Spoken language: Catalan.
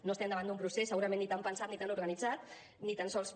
no estem davant d’un procés segurament ni tan pensat ni tan organitzat ni tan sols